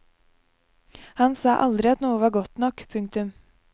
Han sa aldri at noe var godt nok. punktum